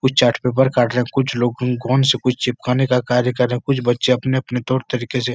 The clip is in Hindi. कुछ चार्ट पेपर काट रहे हैं। कुछ लोग गं गोंद से कुछ चिपकाने का कार्य कर रहे हैं। कुछ बच्चे अपने अपने तौर तरीके से --